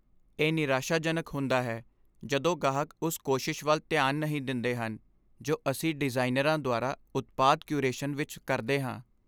ਇਹ ਨਿਰਾਸ਼ਾਜਨਕ ਹੁੰਦਾ ਹੈ ਜਦੋਂ ਗਾਹਕ ਉਸ ਕੋਸ਼ਿਸ਼ ਵੱਲ ਧਿਆਨ ਨਹੀਂ ਦਿੰਦੇ ਹਨ ਜੋ ਅਸੀਂ ਡਿਜ਼ਾਈਨਰਾਂ ਦੁਆਰਾ ਉਤਪਾਦ ਕਿਊਰੇਸ਼ਨ ਵਿੱਚ ਕਰਦੇ ਹਾਂ।